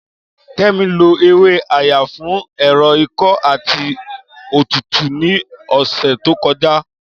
Kẹ́mi lo ewé Ayan fún ẹ̀rọ̀ ikọ́ àti òtútù ní ọ̀sẹ̀ tó kọjá